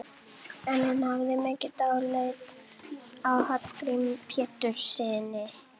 En hún hafði mikið dálæti á Hallgrími Péturssyni.